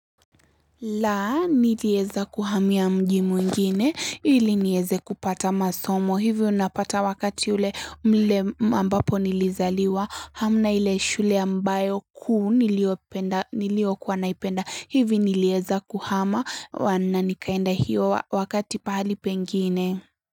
Laa nilieza kuhamia mji mwingine ili nieze kupata masomo hivi unapata wakati ule mle ambapo nilizaliwa hamna ile shule ambayo kuu nilio kuwa naipenda hivi nilieza kuhama wana nikaenda hiyo wakati pahali pengine.